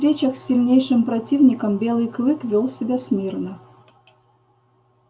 при встречах с сильнейшим противником белый клык вёл себя смирно